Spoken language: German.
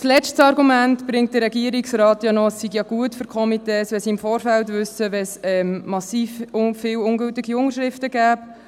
Als letztes Argument bringt der Regierungsrat ein, es sei ja gut für die Komitees, wenn sie es im Vorfeld wüssten, wenn es sehr viele ungültige Unterschriften habe.